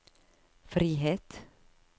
frihet